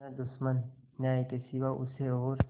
न दुश्मन न्याय के सिवा उसे और